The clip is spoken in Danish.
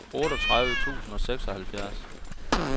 otteogtredive tusind og seksoghalvfjerds